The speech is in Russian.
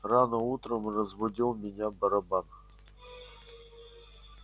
рано утром разбудил меня барабан